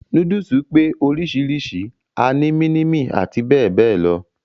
Núdùsù pé oríṣiríṣi, a ní mínímì àti bẹ́ẹ̀ bẹ́ẹ̀ lọ.